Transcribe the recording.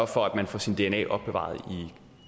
for at man får sit dna opbevaret i